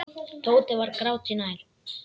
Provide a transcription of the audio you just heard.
Tóti var gráti nær.